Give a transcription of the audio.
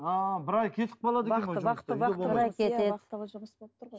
ааа бір ай кетіп қалады екен вахтовый жұмыс болып тұр ғой